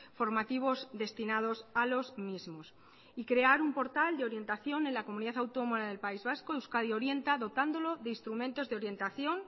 formativos destinados a los mismos y crear un portal de orientación en la comunidad autónoma del país vasco euskadi orienta dotándolo de instrumentos de orientación